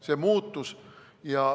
See muutus.